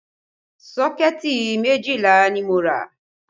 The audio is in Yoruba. Sọ́kẹ̀tì méjìlá ni mo rà